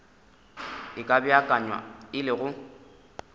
e ka beakanya le go